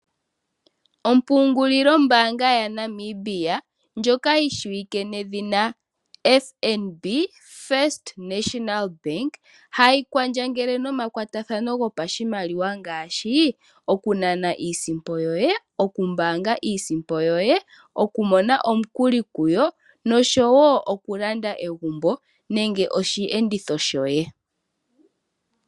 Ompungulilo ya Namibia ndjoka yi shiwike nedhina Fnb, First National Bank hayi kwandjangele nomakwatathano gopashimaliwa, ngaashi okunana iisimpo yoye, okumbaanga iisimpo yoye, okumona omukuli kuyo noshowo okulanda egumbo nenge oshiyenditho shoye.